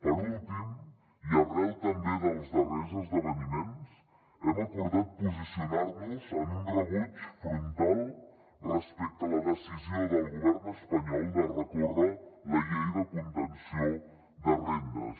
per últim i arran també dels darrers esdeveniments hem acordat posicionar nos en un rebuig frontal respecte a la decisió del govern espanyol de recórrer la llei de contenció de rendes